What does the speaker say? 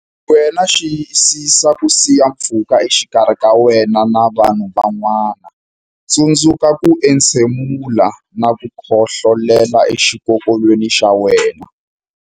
Wena Xiyisisa ku siya pfhuka exikarhi ka wena na vanhu van'wana Tsundzuka ku entshemula na ku khohlolela exikokolweni xa wena.